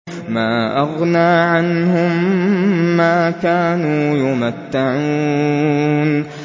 مَا أَغْنَىٰ عَنْهُم مَّا كَانُوا يُمَتَّعُونَ